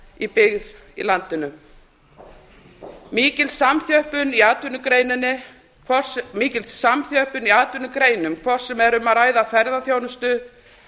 í byggð í landinu mikil samþjöppun í atvinnugreinum hvort sem er um að ræða ferðaþjónustu